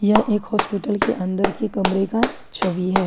यह एक हॉस्पिटल के अंदर के कमरे का छवि है।